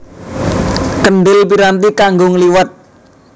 Kendhil piranti kanggo ngliwet